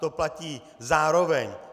To platí zároveň.